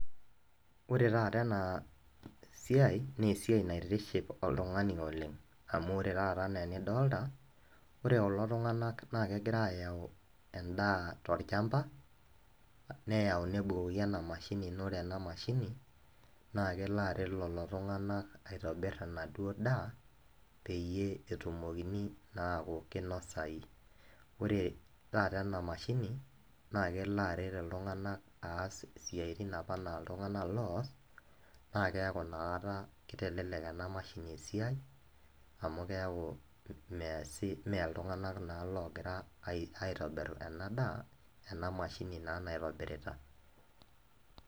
Ore taata ena naa esiai naitiship oltungani oleng amu ore taata anaa enidolta , ore kulo tunganak naa kegira ayau endaa tolchama, neyau nebukoki ena mashini, naa ore ena mashini naa kelo aret lelo tunganak aitobir enaduo daa peyie etumokini naa aaku kinosayu .Ore taata ena mashini naa kelo aret iltunganak as isiatin naa iltunganak apa loos naa keaku inakata kitelelek ena mashini esiai amu keaku measi, mmee iltunganak naa logira aitobir ena daa , ena mashini naa naitobirita .